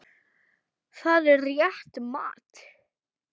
Það er rétt mat.